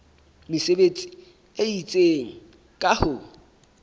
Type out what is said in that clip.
mesebetsi e itseng ka ho